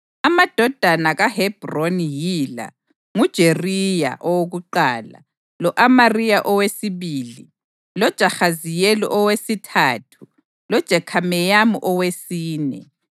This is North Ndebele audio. Amadodana kaHebhroni yila: nguJeriya owokuqala lo-Amariya owesibili, loJahaziyeli owesithathu loJekhameyamu owesine.